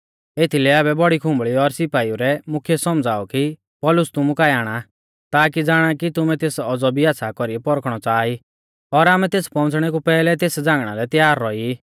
एथीलै आबै बौड़ी खुंबल़ी और सिपाइऊ रै मुख्यै सौमझ़ाऔ कि पौलुस तुमु काऐ आणा ताकी ज़ाणा कि तुमै तेस औज़ौ भी आच़्छ़ा कौरी पौरखणौ च़ाहा ई और आमै तेसरै पौउंच़णै कु पैहलै तेस झ़ांगणा लै तैयार रौई ई